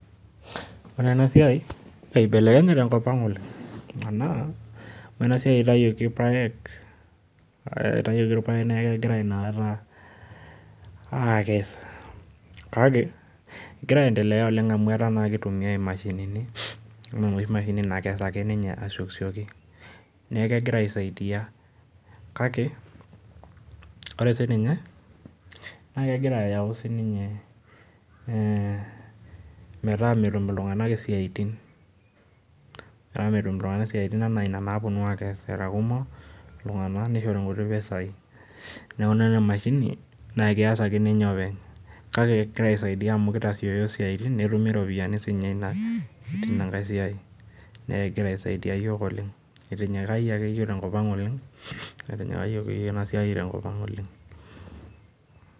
Ore enasiai, ibelekenye tenkop aang oleng anaa ore enasiai itawuoki irpaek neaku kegirai inakata akes, kake egira aendelea oleng amu ketumi naake imashinini, anaa enoshi mashini na keirag ake ninye asiokisioki, neaku kegira aisaidia kake ore sininye na kegira ayau ninye ee metaa metum ltunganak isiaitinanaa naa ina naponu era kumok, ltunganak nishori nkuti pisai, neaku enishore enkiti mashini neaku keas openy, kake kaisaidia amu kitasioyo esiai netumi ropiyani tinankae siai ,neaku kegira aisaidia yiok oleng, eitinyikayie akeyie yiok tenkop aang oleng, neaku Kesidai tenkop aang oleng.